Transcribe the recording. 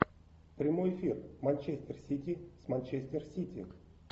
прямой эфир манчестер сити с манчестер сити